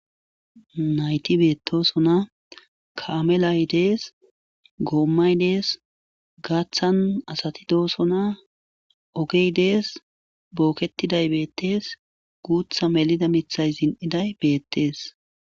nayti beetosona kaamelay dees goommay dees gaaththan asati doosona ogey dees booketiday beettees guutha melida mithay zin7iday beettees